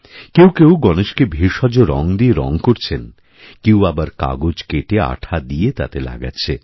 কেউ কেউ গণেশকেভেষজ রঙ দিয়ে রঙ করছেন কেউ আবার কাগজ কেটে আঠা দিয়ে তাতে লাগাচ্ছে